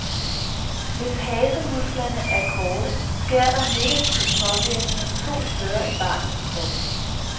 Hvis hasemusklerne er korte, sker der negative påvirkninger to steder i barnets krop.